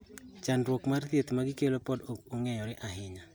Chandruok mar thieth ma gikelo pod ok ong'eyore ahinya.